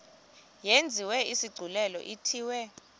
yenziwe isigculelo ithiwe